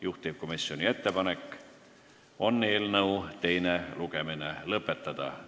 Juhtivkomisjoni ettepanek on eelnõu teine lugemine lõpetada.